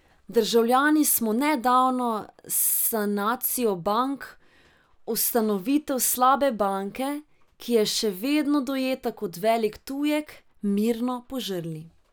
Državljani smo nedavno sanacijo bank, ustanovitev slabe banke, ki je še vedno dojeta kot velik tujek, mirno požrli.